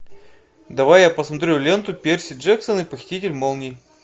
давай я посмотрю ленту перси джексон и похититель молний